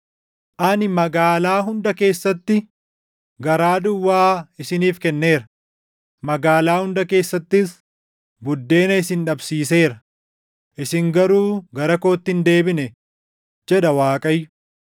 “Ani magaalaa hunda keessatti garaa duwwaa isiniif kenneera; magaalaa hunda keessattis buddeena isin dhabsiiseera; isin garuu gara kootti hin deebine” jedha Waaqayyo.